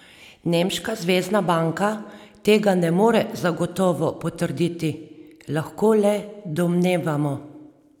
Nemška zvezna banka tega ne more zagotovo potrditi: " Lahko le domnevamo.